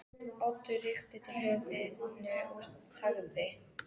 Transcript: Oddur rykkti til höfðinu og þagði.